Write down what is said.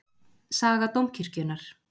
Saga Dómkirkjunnar.